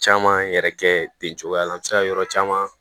Caman yɛrɛ kɛ ten cogoya la an bɛ se ka yɔrɔ caman